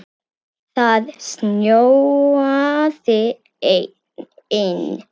Það snjóaði inn.